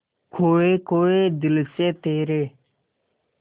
खोए खोए दिल से तेरे